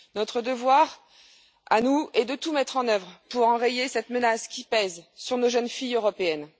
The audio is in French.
Notre devoir est de tout mettre en œuvre pour enrayer cette menace qui pèse sur nos jeunes filles européennes.